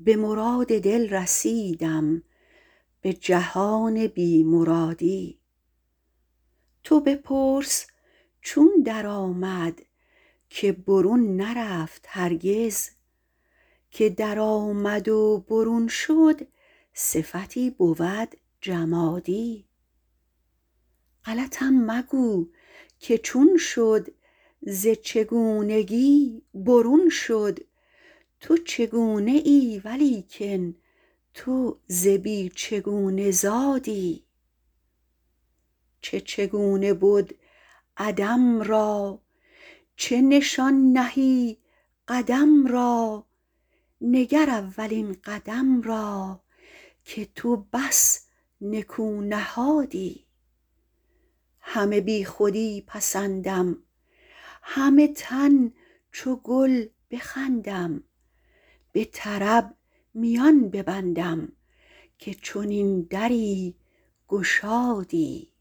به مراد دل رسیدم به جهان بی مرادی تو بپرس چون درآمد که برون نرفت هرگز که درآمد و برون شد صفتی بود جمادی غلطم مگو که چون شد ز چگونگی برون شد تو چگونه ای ولیکن تو ز بی چگونه زادی چه چگونه بد عدم را چه نشان نهی قدم را نگر اولین قدم را که تو بس نکو نهادی همه بیخودی پسندم همه تن چو گل بخندم به طرب میان ببندم که چنین دری گشادی